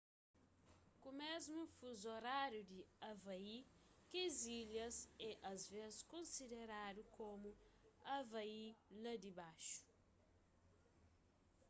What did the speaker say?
ku mésmu fuzu oráriu di havai kes ilhas é asvês konsideradu komu hawaii la dibaxu